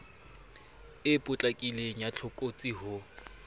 e potlakileng ya tlokotsi ho